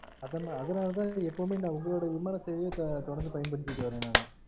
அது அதுனால தான் எப்பொழுதும் நா ஒங்கலோடைய விமானத்தையே தொடர்ந்து பயன்படித்திட்டு வாறன் நானு